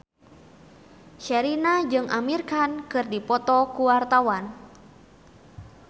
Sherina jeung Amir Khan keur dipoto ku wartawan